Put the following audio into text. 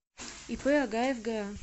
ип агаев га